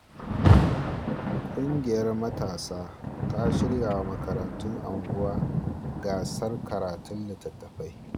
Kungiyar matasa ta shirya wa makarantun unguwa gasar karatun littattafai.